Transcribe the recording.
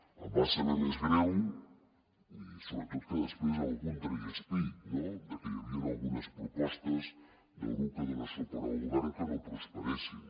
em va saber més greu i sobretot que després algú tragués pit de que hi havien algunes propostes del grup que dona suport al govern que no prosperessin